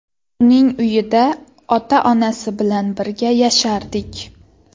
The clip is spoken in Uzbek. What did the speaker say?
Uning uyida ota-onasi bilan birga yashardik.